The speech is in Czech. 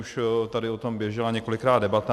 Už tady o tom běžela několikrát debata.